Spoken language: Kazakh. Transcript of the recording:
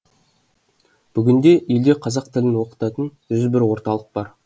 бүгінде елде қазақ тілін оқытатын жүз бір орталық бар